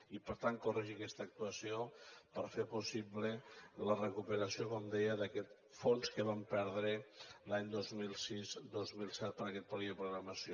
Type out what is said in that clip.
i per tant corregir aquesta actuació per fer possible la recuperació com deia d’aquest fons que vam perdre els anys vint milions seixanta dos mil set per a aquest període de programació